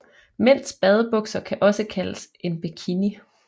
Mænds badebukser kan også kaldes en bikini